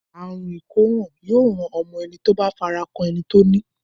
Àrùn ìkóràn yóò ràn mọ́ ẹni tó bá fara kan ẹni tó ní.